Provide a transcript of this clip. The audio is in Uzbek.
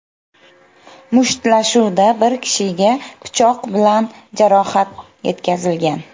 Mushtlashuvda bir kishiga pichoq bilan jarohat yetkazilgan.